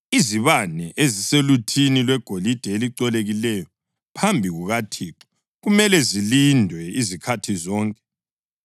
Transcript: Izibane ezisoluthini lwegolide elicolekileyo phambi kukaThixo kumele zilindwe izikhathi zonke.